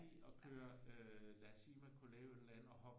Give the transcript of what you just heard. Og køre lad os sige man kunne lave et eller andet og hoppe på